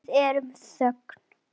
Við erum í þögn.